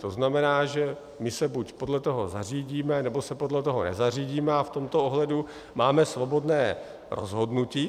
To znamená, že my se buď podle toho zařídíme, nebo se podle toho nezařídíme a v tomto ohledu máme svobodné rozhodnutí.